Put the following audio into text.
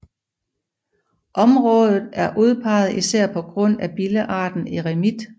Området er udpeget især på grund af billearten eremit